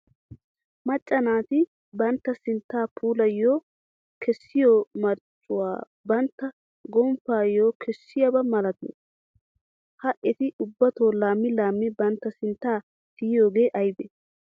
Macca naati bantta sinttaa puulaayyo kessiyo marccuwa bantta gomppayyo kessiyaaba malatii? Ha eti ubbatoo laammi laammi bantta sinttaa tiyiyooge aybe?